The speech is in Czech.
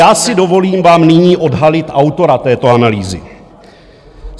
Tak já si dovolím vám nyní odhalit autora této analýzy.